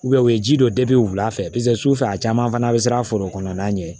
u ye ji dɔ wula fɛ paseke sufɛ a caman fana bɛ siran a foro kɔnɔna ɲɛ